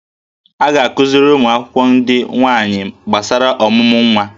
A ga-akụziri ụmụ akwụkwọ ndị nwaanyị gbasara ọmụmụ nwa